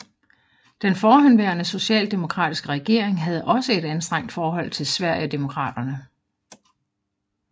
Den forhenværende socialdemokratiske regering havde også et anstrengt forhold til Sverigedemokraterna